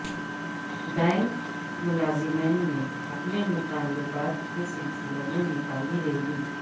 bank ملازمین نے اپنے مطالبات کے سلسلے میں نکالی ریلی